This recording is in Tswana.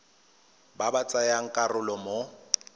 ba ba tsayang karolo mo